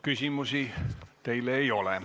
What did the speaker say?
Küsimusi teile ei ole.